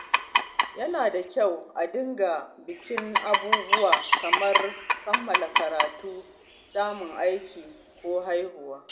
Yana da kyau a dinga bikin abubuwa kamar kammala karatu, samun aiki, ko haihuwa.